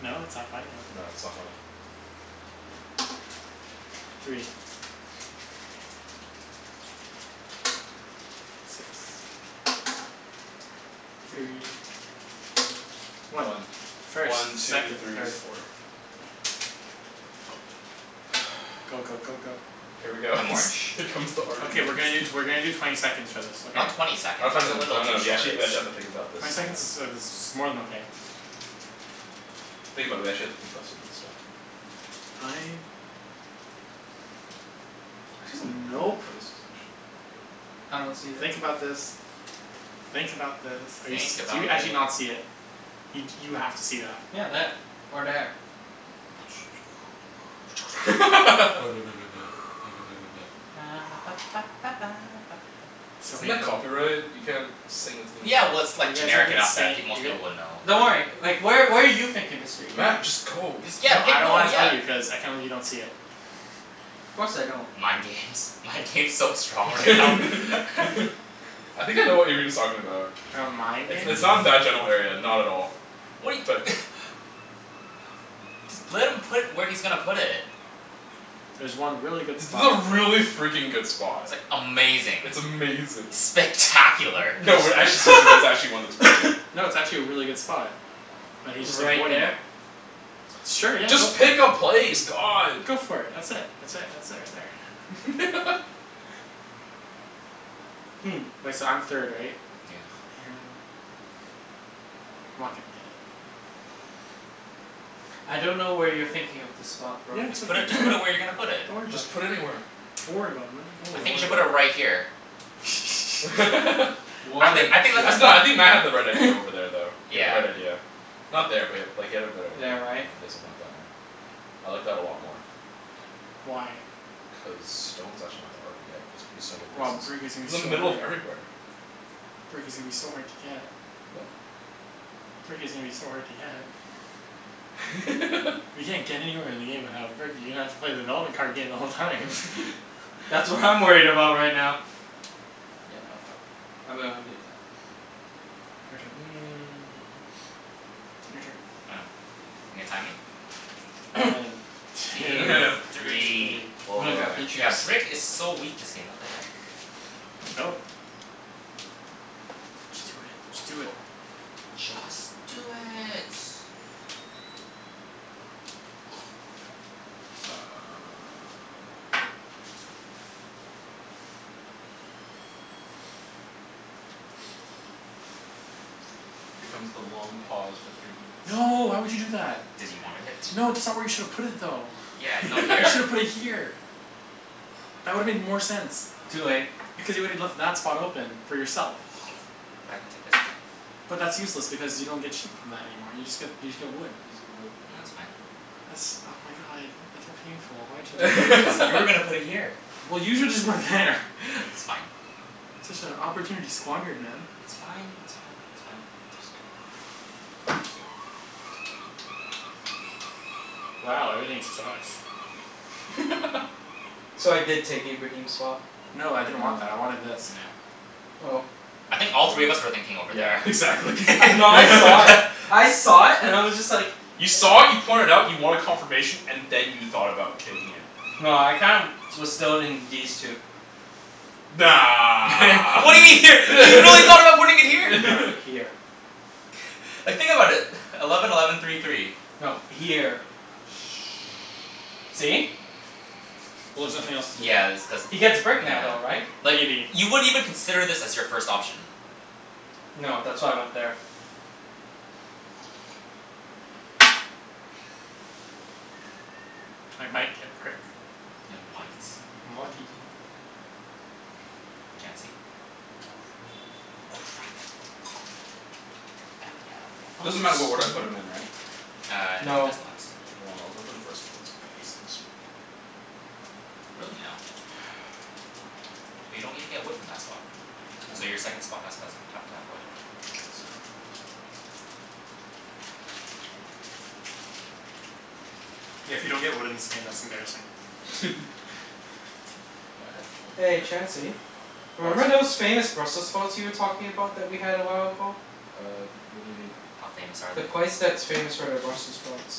No? it's not funny? Okay. No, it's not funny. Three. Six. Three. Three. One. One. First, One, two, second, three, third, four. fourth. Go go go go. Here we go I'm orange. Here comes the argument Okay we're gonna do t- we're gonna do twenty seconds for this, okay? Not twenty seconds. Not twenty That's a seconds, little no too no, we short. actually we actually have to think about this Twenty seconds sometimes. is uh is more than okay. Think about it, we actually have to think about some of this stuff. Fine. I see some N- really good nope. places actually. I don't see that. Think about this. Think about this. Are you s- Think do you about actually thi- not see it? You d- you have to see that. Yeah, there, or there. So Isn't that painful. copyright? You can't sing a theme Yeah well, song. it's like You guys have generic been enough that say- pe- most you guy- people would know. Don't worry, like where where are you thinking Mr. Ibrahim? Matt, just go. You s- yeah No pick, I don't no wanna tell yeah you, cuz I can't believe you don't see it. Of course I don't. Mind games, mind games so strong right now. I think I know what Ibrahim's talking about. Mind It's games? it's not in that general area, not at all, What he but Just let him put where he's gonna put it. There's one really good It's spot to a play. really freakin' good spot. Amazing. It's amazing. Spectacular. No we're actually serious, there's actually one that's really good. No, it's actually a really good spot. But he's just Right avoiding it. there? Sure, yeah, go Just for it. pick a place, god. Go for it. That's it, that's it, that's it right there. Hmm. Wait, so I'm third right? Yeah. Oh man. I'm not gonna get it. I don't know where you're thinking of the spot bro. Yeah, it's Just right put it, just put it where you're gonna put there. it. Don't worry about Just it. put anywhere. Don't worry about it man, don't I worry Don't about think you worry should it. put about it it. right here. I What a think I think that's the jerk. No, I spot. think Matt had the right idea over there though. He had the Yeah. right idea. Not there but like he had a better idea, There, yeah right? you got something like that, yeah. I like that a lot more. Why? Cuz stone's actually not that hard to get. It's gonna be so many Well, places. brick is It's gonna in the be so middle of hard. everywhere. Brick is gonna be so hard to get. Brick is gonna be so hard to get. You can't get anywhere in the game without brick, you're gonna have to play the development card game the whole time. That's what I'm worried about right now. Yeah no fuck, I'm gonna undo that. Your turn. Your turn. I know. You're gonna time me? One, two, Three, three. I'm gonna four grab the Yeah, juice. brick is so weak this game, what the heck. Go. Just do it, just do it. Just do it. Here comes the long pause for three minutes. No, why would you do that? Cuz you wanted it. No, that's not where you shoulda put it though. Yeah, no, You here. shoulda put it here. That would've made more sense, Too late. because you woulda left that spot open for yourself. But I can take this back. But that's useless because you don't get sheep from that anymore, you just get, you just get wood. He needs to get No, wood. it's fine. That's, oh my god, that's so painful, why would you do that? Cuz you were gonna put it here. Well you shoulda just put it there It's fine. Such a opportunity squandered man. It's fine, that's fine, it's fine. Just go. Oops, go. Wow, everything sucks. So I did take Ibrahim's spot. No, I didn't No. want that, I wanted this. No. Oh. I think all I three of would've, us were thinking over yeah there. exactly No, I saw it. I saw it and I was just like You saw it, you point it out, you wanted confirmation, and then you thought about taking it. No, I kinda was still in these two. Nah. What do you mean here? You really thought about putting it here? No, here. Like think about it. Eleven eleven three three. No, here. Oh. Shh, See? well there's nothing else to do. Yeah that's cuz, He gets brick now though, right? nah Like Maybe. you wouldn't even consider this as your first option. No, that's why I went there. I might get brick. Ya might. If I'm lucky. Chancey? Crap. Crap. Oh no. Oh Doesn't snap. matter what order I put 'em in right? Uh no, it No. does not. Mkay, well I'll go for the first one and get some Really now? But you don't even get wood from that spot. So your second I spot has to has have don't to have wood. get. Exactly. Yeah, if you don't get wood in this game that's embarrassing. Yeah, I had the one I'm Hey gonna put there. Chancey. What? Remember those famous Brussels sprouts you were talking about that we had a while ago? Uh what do you mean? How famous are The they? place that's famous for their Brussels sprouts.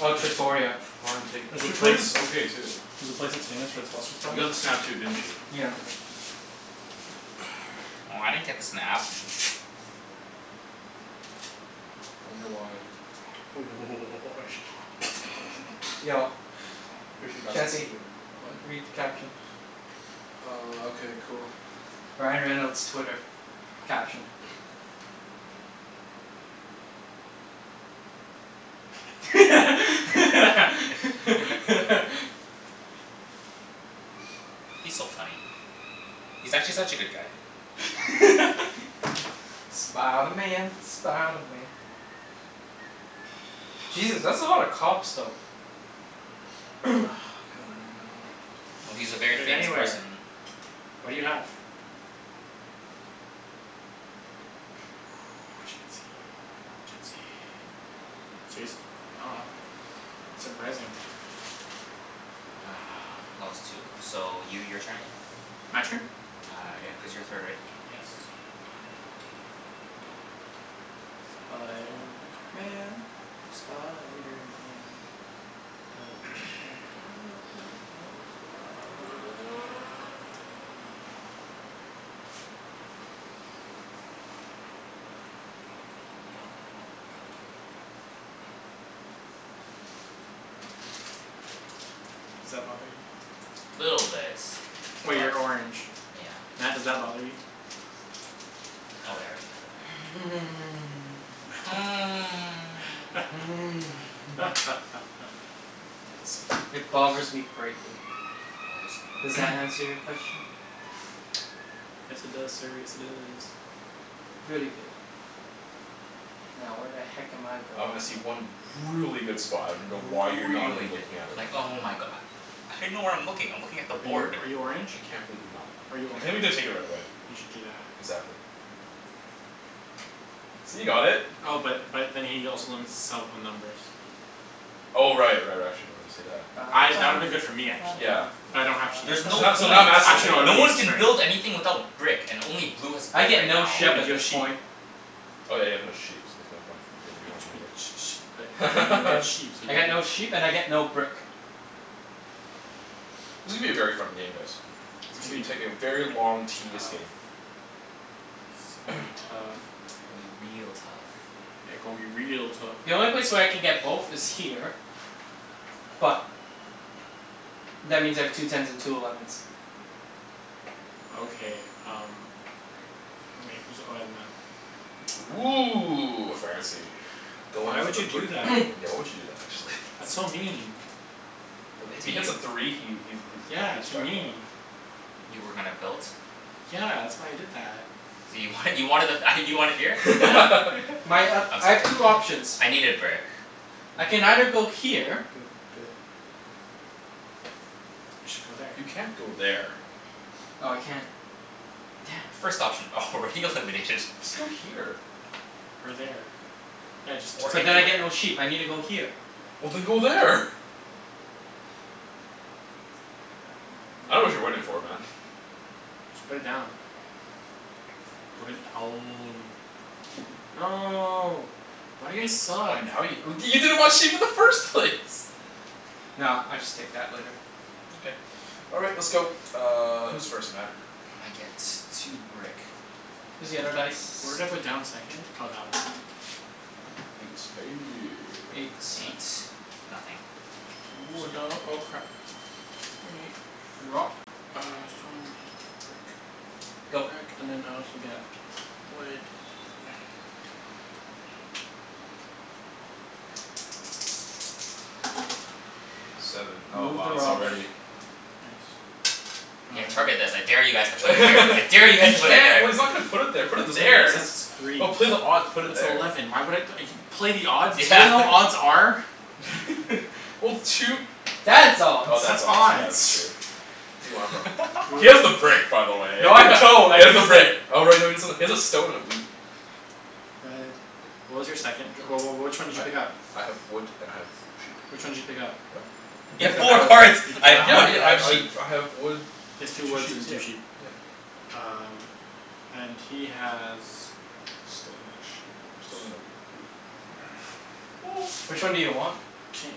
Oh, Trattoria. Flying Pig, There's a place, Trattoria's okay too. there's a place that's famous for its Brussels You sprouts? got the snap too, didn't you? Yeah. Oh, I didn't get the snap. Wonder why? Yo I'm pretty sure you're not supposed to Chancey, do it right now. read What? the caption. Uh okay cool. Ryan Reynolds' Twitter. Caption. He's so funny. He's actually such a good guy. Spider Man, Spider Man. Jesus, that's a lot of cops though. God, I don't know. Well, he's a very Put it famous anywhere. person. What do you have? Chancey, Chancey. Serious? Oh wow. Surprising. Uh clause two. So you, your turn again. My turn? Uh yeah, cuz you're third right? Yes. Spiderman, Spiderman. Does whatever a spider can. Does that bother you? Little bit. Oh, But, you're orange. yeah. Matt, does that bother you? Oh wait, I already have a doubt. It bothers me greatly. Bothers him Does greatly. that answer your question? Yes it does sir, yes it does. Very good. Now where the heck am I going? Um I see one really good spot, I dunno why you're not Really even good. looking at it Like right now. oh my go- How do you know where I'm looking? I'm looking at the Are you board. are you orange? I can't believe you're not Are you I orange? can't believe you didn't take it right away. You should do that. Exactly. See, you got it. Oh but but then he also limits himself on numbers. Oh right right, actually no I didn't see that. I, that would've been good for me actually, Yeah but yeah. I don't have sheep There's so no Now, so point. now Matt's gonna Actually take no, it No would've it. one been can build useless for me. anything without brick and only blue has I brick get right no now. Yeah, sheep but at you have this sheep. point. Oh yeah, you have no sheep, so there's no point for you But y- getting but y- that Oh. y- either. but you'll get sheep, so you I get can do no sheep that. and I get no brick. This is gonna be a very fun game guys. It's gonna be It's taking a very gonna long be tedious game. tough. It's gonna be tough. Gonna be real tough. Yeah, gon' be real tough. The only place where I can get both is here. But that means I have two tens and two elevens. Okay um Oh wait, who's, oh yeah Matt. Woo, fancy. Goin' Why for would the you brick do that? Why would you do that actually? That's so mean. Uh if To he hits you? a three he he's he Yeah, hits to jackpot. me. You were gonna build? Yeah, that's why I did that. You wanted, you wanted the th- ah you wanted here? Yeah. My um, I'm I have sorry. two options. I needed brick. I can either go here. You should go there. You can't go there. Oh I can't. Damn. First option already eliminated. Just go here. Or there. Yeah, just Or But just then I anywhere. get no sheep. I need to go here. Well then go there. I dunno what you're waiting for man. Just put it down. Put it down. No. Why do you guys Oh suck? now you w- you didn't want sheep in the first place. No, I'll just take that later. Okay. All right, let's go, uh who's first Matt? I get two brick. Here's the other dice. Where did I put down the second? Oh that one. Eight. Eight Nothing. Wood. Sto- oh crap. Drop. Uh stone, wheat, brick. Go. Brick and then I also get wood Seven. Oh Move the wow, it's robber. already Nice. Yeah, target I this. I dare you guys to put it here. I dare you He guys to put it can't, there. well he's not gonna put it there, put That it doesn't make any there. That's sense, it's three. just, put odd, put it That's there. eleven, why would I play the odds? You Yeah, know what what are you odds are? Well two That's odds. Oh That's that's odds, yeah that's odds. true. Who do you want it from? He has the Br- brick by the way No he I don't, I has the used it. brick. Oh right no you got something, he has a stone and a wheat. Red, what was your second? Wh- wh- which one did you pick up? I I have wood and I have sheep. Which one did you pick up? What? He You You picked have picked up up four that wood. one, cards. you picked "I up have that Yeah wood yeah and one? I I have I sheep." I have wood He has and two two woods and sheeps, yeah two sheep. yeah. Um and he has Stone and sheep. Stone and a wheat. Which one do you want? Ca-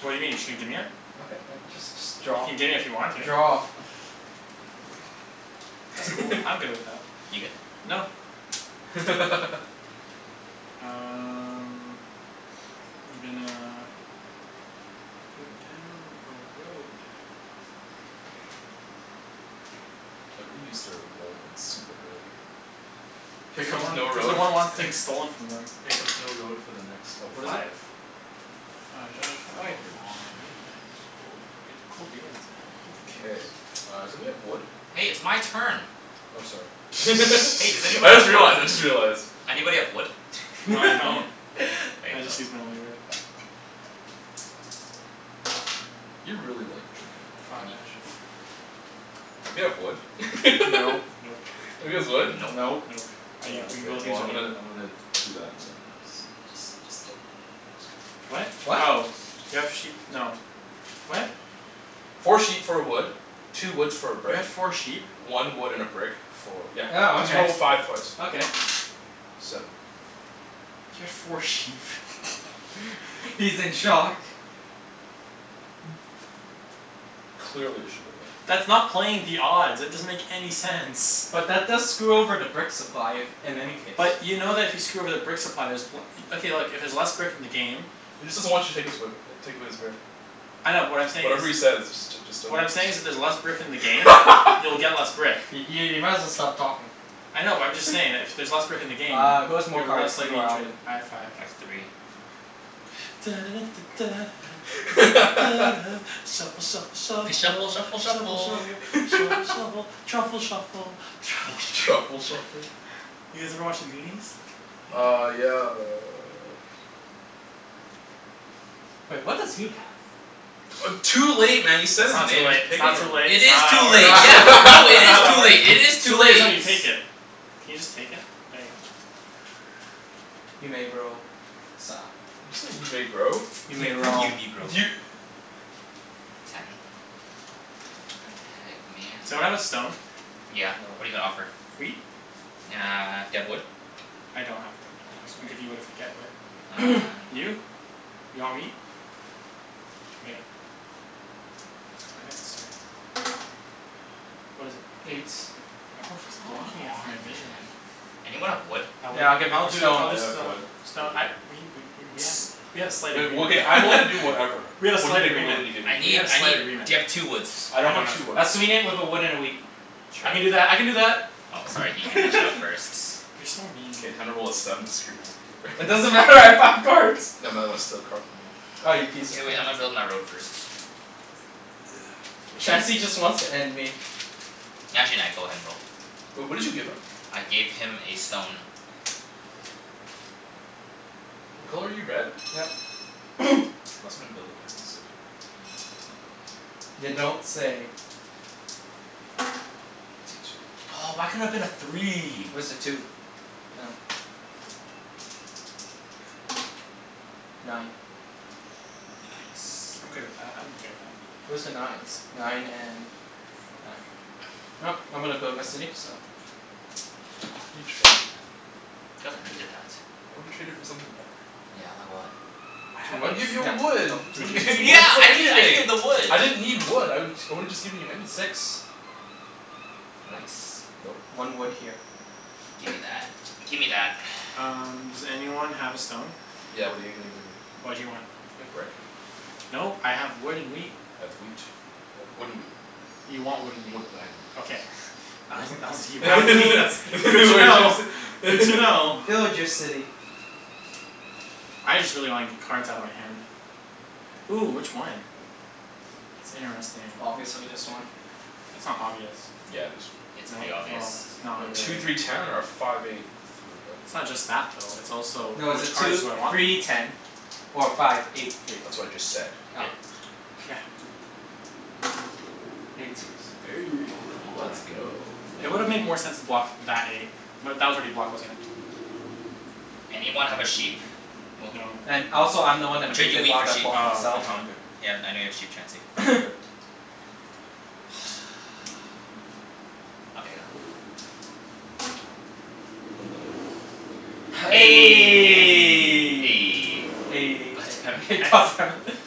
what do you mean? Just gonna gimme it? Okay just just You draw. can gimme if you want to. Draw. That's cool, I'm good with that. You good? No. Um I'm gonna put down a road. Everybody used their road like super early. Here Cuz no comes one, no cuz no road one wants f- things stolen from them. here comes no road for the next oh What is it? five. Five. Five uh oh I Come do, on. sweet, cool, goo- cool beans man, cool K, beans. uh somebody have wood? Hey, it's my turn. Oh sorry, Hey does anyone I just have wood? realized, I just realized. Anybody have wood? No I don't, There I you go. just used my only wood. You're really like drinkin' all that, Can you aren't Five. you? Anybody have wood? Nope. Nope. Nobody has wood? Nope. Nope. Nope. I u- Oh we okay. both Well used our I'm wood. gonna I'm gonna do that and uh What? do do that. What? Oh, do you have sheep, no, what? Four sheep for a wood, two woods for a You brick, had four sheep? one wood and a brick for, yeah, Oh cuz you okay, rolled a five twice. okay. Seven. You had four sheep He's in shock. Clearly, I should go there. That's not playing the odds. It doesn't make any sense. But that does screw over the brick supply, if, in any case. But you know that if you screw over the brick supply there's w- okay look, if there's less brick in the game He just doesn't want you to take his way b- take away his brick. I know but what I'm saying is Whatever he says just j- just don't What I'm just saying is if there's j- less brick in the game you'll get less brick. I- i- you might as well stop talking. I know but I'm just saying that if y- there's less brick in the game Uh who has more you're cards, less you likely or to Alvin? have I five. have three. shuffle shuffle shuffle shuffle F- shuffle shuffle shuffle shuffle shuffle. shuffle truffle shuffle truffle Truffle shuffle. Truffle shuffle? shuffle? You guys ever watch The Goonies? No. Uh yeah uh Wait, what does he have? Uh too late man you said That's his not too name, late, it's pick it not too from him. late, It it's not is how that too late. works, Yeah, no, it it's not is how that too works. late, it is too Too late is when late. you take it. Can you just take it? There you go. You may bro, sa- You say you may grow? You may roll. You negro. You Ten. What the heck Someone man? have a stone? Yeah, No. what're you gonna offer? Wheat? Uh do you have wood? I don't have wood. Oh, I can sorry. give you wood if I get wood. Uh no. You? You want wheat? Okay. Go ahead sir. What is it? Eight. Eight. Everyone keeps Come blocking it from on my vision. man. Anyone have wood? I would, Yeah, I'll give it I'll for do, stone. I'll I just have uh, wood, stone wheat. I we we w- w- we had a slight Wait, well agreement okay, I'm willing to do whatever. We had a What are you slight gonna be agreement, willing to give me? I we need, had a I slight need, agreement. do you have two woods? I I don't don't have have two two wood. woods. I'll sweeten it with a wood and a wheat. I can do Sure. that, I can do that. Oh sorry, he he beat you out first. You're so mean. K, time to roll a seven and screw Matthew It over. doesn't matter, I have five cards. No Matt, I wanna steal a card from you. Ah, you piece K of wait, crap. I'ma build my road first. K. Chancey just wants to end me. Actually nah, go ahead and roll. Wait, what did you give him? I gave him a stone. What color are you, red? Yep. Matt's gonna build a frickin' city. Can I go in You here? No. don't say. Two twos. Two. Two. Oh why couldn't it have been a three? Where's the two? Oh. Nine. Nice. I'm good with that, I'm okay with that. Where's the nines? Nine and nine. I'm gonna build my city, so Why did you trade, man? Cuz I needed that. I would've traded for something better. Yeah, like what? Two I'd woods? give you Yeah, a wood. go. two What did you need, you Yeah woods? could get I needed, I needed anything. the wood. I didn't need wood, I would I woulda just given you anything. Six. Nope, Nice. nope. One wood here. Gimme that, gimme that Um does anyone have a stone? Yeah what are you gonna give me? What do you want? Do you have brick? Nope, I have wood and wheat. I have wheat. Wood and wheat. You want wood and Wood wheat. Okay. please. I was, I was, you What have wheat, that's that's did good you to know. wanna Good say to know. Build your city. I just really wanna get cards outta my hand. Ooh, which one? That's interesting. Obviously this one. That's not obvious. Yeah it is. It's No, pretty obvious. well, it's not Two really. three ten or a five eight three, It's not okay just that though, it's also No, it's a which cards two do I want the three most? ten or a five eight three. That's what I just said. Oh. Yeah. Eight. Eight Aw come on. let's go. It would've made more sense to block that eight. But that was already blocked, wasn't it? Anyone have a sheep? Well No. And also I'm the No. one I'll that trade moved you it, wheat why for did I sheep. block Oh, myself? No, I'ma, I'm good. okay. yeah I know you have sheep Chancey. I'm good. Okay, go. Eleven. God God damn it hex. damn it